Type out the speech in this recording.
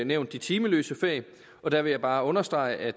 nævnt de timeløse fag og der vil jeg bare understrege at